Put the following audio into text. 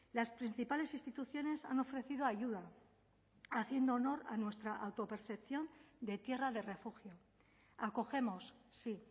las principales instituciones han ofrecido ayuda haciendo honor a nuestra autopercepción de tierra de refugio acogemos sí